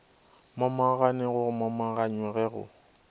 momagane go momaganywa ge go